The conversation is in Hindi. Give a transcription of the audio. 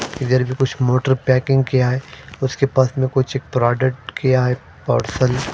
इधर भी पूछ मोटर पेकिंग किया है उसके पर्स में कुछ प्रोडक्श किया है पार्सल --